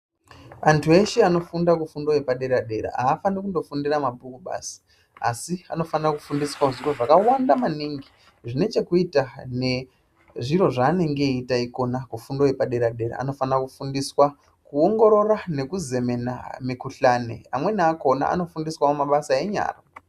Antu eshe anofunda kufundo yepadera-dera haafani kundofundira mabhuku basi, asi anofanira kufundiswawo zviro zvakawanda maningi zvine chekuita nezviro zvaanenge eyiita ikona kufundo yepadera-dera. Anofana kufundiswa kuongorora nekuzemena mikuhlani. Amweni akona anofundiswawo mabasa enyara.